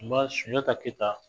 Sunjata kɛyita